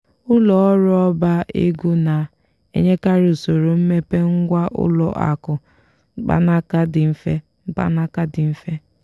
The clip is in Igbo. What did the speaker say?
ụlọ ọrụ ọba ego na-enyekarị usoro mmepe ngwá ụlọ akụ mkpanaka dị mfe mkpanaka dị mfe